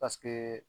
Paseke